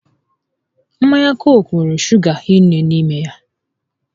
Mmanya Cooku nwere shuga hinne n'ime ya